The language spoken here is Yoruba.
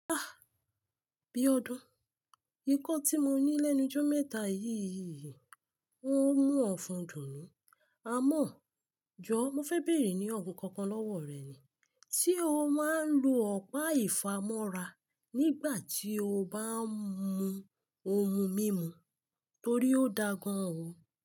Ah! Biọ́dún, nkan tí mo ní lẹ́nu jó mẹ́ta yìí yìí, n ó mú ọ̀fun dùn ún. Àmọ́, jọ̀ọ́ mo fẹ́ bèèrè ní ọ̀hun kankan lọ́wọ́ rẹ̀ ni. Tí o máa ń lo ọ̀pá ìfámọ́ra nígbà tí o bá ń mú ohun mímu torí ó da gan an o.